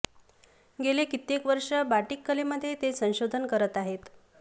गेली कित्येक वर्ष बाटिक कलेमध्ये ते संशोधन करत आहेत